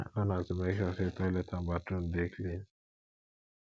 my own na to mek sure say toilet and bathroom dey clean